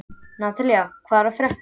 Nataníel, hvað er að frétta?